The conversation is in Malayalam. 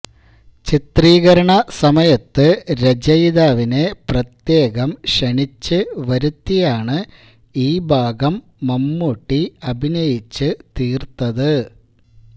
ചിത്രീകരണ സമയത്ത് രചയിതാവിനെ പ്രത്യേകം ക്ഷണിച്ച് വരുത്തിയാണ് ഈ ഭാഗം മമ്മൂട്ടി അഭിനയിച്ചു തീർത്തത്